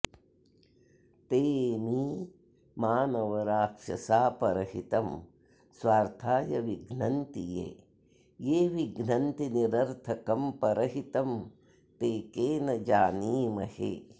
तेऽमी मानवराक्षसाः परहितं स्वार्थाय विघ्नन्ति ये ये विघ्नन्ति निरर्थकं परहितं ते के न जानीमहे